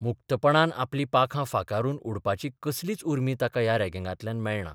मुक्तपणान आपलीं पाखां फांकारून उडपाची कसलीच उर्मी ताका ह्या रॅगिंगांतल्यान मेळना.